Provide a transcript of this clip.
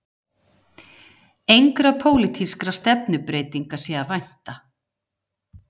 Engra pólitískra stefnubreytinga sé að vænta